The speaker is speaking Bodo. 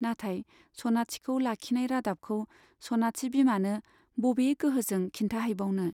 नाथाय सनाथिखौ लाखिनाय रादाबखौ सनाथि बिमानो बबे गोहोजों खिन्थाहैबावनो !